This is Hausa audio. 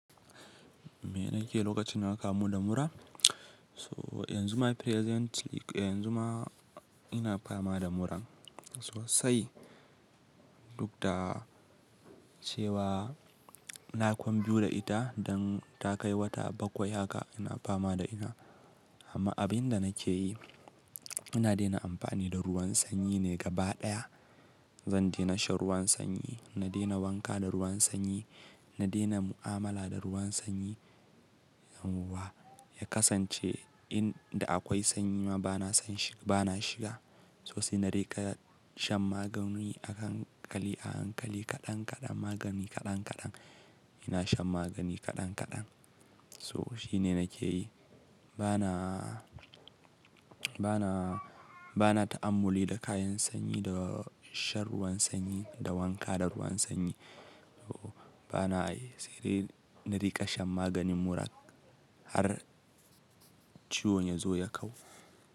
Me nake yi lokacin da nakamu da mura? So yanzu ma presently, yanzu ma ina fama da mura sosai. Duk da cewa na kwan biyu da ita don ta kai wata bakwai haka ina fama da ina. Amma abin da nake yi, ina daina amfani da ruwan sanyi ne gaba ɗaya. Zan daina shan ruwan sanyi, na daina wanka da ruwan sanyi, na daina mu'amala da ruwan sanyi. Amma ya kasance in da akwai sanyi ma bana san shi, bana shiga. Sai na rika shan magani a hankali, a hankali kaɗan kaɗan, magani kaɗan kaɗan. Ina shan magani kaɗan kaɗan. Toh shine nake yi. Bana, bana, bana ta'amuli da kayan sanyi da shan ruwan sanyi, da wanka da ruwan sanyi. So bana yi, sai dai na rika shan maganin mura har ciwon ya zo ya kau.